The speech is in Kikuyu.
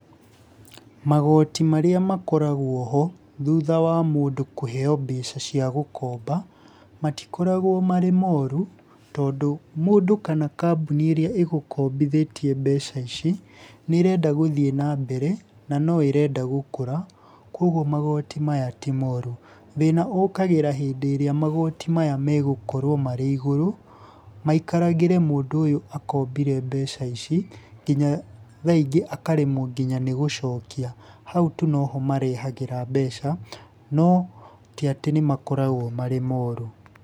Magoti marĩa makoragwo ho thutha wa mũndũ kũheo mbeca cia gũkomba, matikoragwo marĩ moru tondũ, mũndũ kana kambuni ĩrĩa ĩgũkombithĩtie mbeca ici, nĩ ĩrenda gũthiĩ na mbere na no ĩrenda gũkũra, koguo magoti maya ti moru. Thĩna ũkagĩra hĩndĩ ĩrĩa magoti maya megũkorwo marĩ iguru maikaragĩre mũndũ ũyũ akombire mbeca ici nginya thaa ingĩ akaremwo ngĩnya nĩ gũcokia. Hau tu no ho marehagĩra mbeca, no ti atĩ nĩ makoragwo marĩ moru.